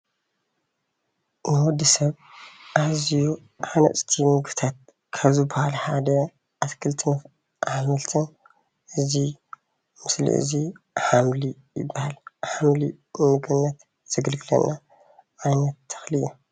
ንወዲበሰብ ኣዝዩ ሃናፅቲ ምግብታት ካብ ዝበሃሉ ሐደ ኣትክልትን ኣሕምልትን እዚ ምስሊ እዙይ ሓምሊ ይበሃል። ሓምሊ ንምግብነት ዘገልግለና ዓይነት ተኽሊ እዩ።